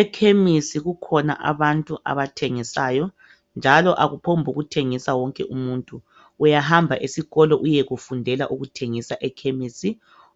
Ekhemesi kukhona abantu abathengisayo. Njalo akuphongokuthengisa wonke umuntu, uyahamba esikolo uyekufundela ukuthengisa ekhemesi.